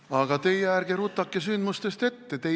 Aga teie ärge rutake sündmustest ette!